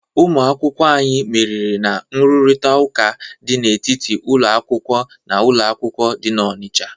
Ụmụ akwụkwọ anyị meriri na nrụrịtaụka dị n'etiti ụlọ akwụkwọ na ụlọ akwụkwọ dị n'Ọnịcha.